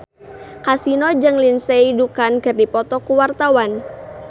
Kasino jeung Lindsay Ducan keur dipoto ku wartawan